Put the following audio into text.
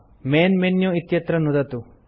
main menu इत्यत्र नुदतु